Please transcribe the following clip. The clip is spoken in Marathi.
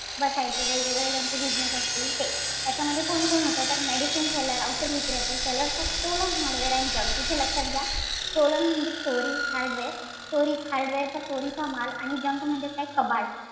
बसायची. वेगवेगळे त्यांची बिझनेस असतील ते. त्याच्यामध्ये कोण कोण होत तर medicine seller औषध विक्रेते sellers of stolen hardware and junk. इथं लक्षात घ्या stolen म्हणजे चोरी hardware चोरी hardware चा चोरीचा माल आणि junk म्हणजे कबाड.